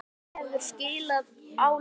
Nefndin hefur skilað áliti.